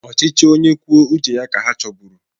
Ọchịchị onye kwuo uche ya ka ha choburu